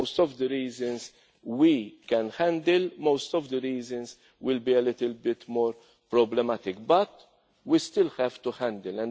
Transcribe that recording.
most of the reasons we can handle, some of the reasons will be a little bit more problematic but we still have to handle them.